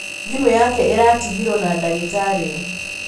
Thimũ yake ĩratigirwo na dagĩtarĩ.